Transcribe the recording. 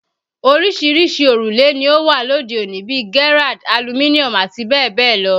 Oríṣiríṣi òrùlé ni ó wà lóde òní bíi Gerrard, Aluminum àti bẹ́ẹ̀ bẹ́ẹ̀ lọ